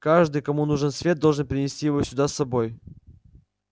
каждый кому нужен свет должен принести его сюда с собой